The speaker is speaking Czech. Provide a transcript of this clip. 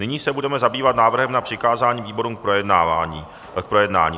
Nyní se budeme zabývat návrhem na přikázání výborům k projednání.